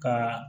Ka